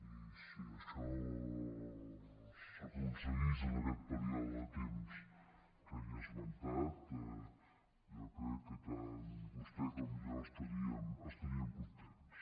i si això s’aconseguís en aquest període de temps que he esmentat jo crec que tant vostè com jo estaríem contents